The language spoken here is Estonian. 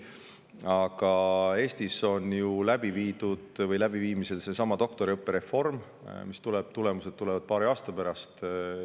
Aga Eestis on ju käimas seesama doktoriõppe reform, mille tulemused on näha paari aasta pärast.